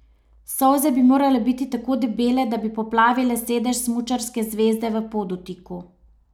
Solze bi morale biti tako debele, da bi poplavile sedež smučarske zveze v Podutiku.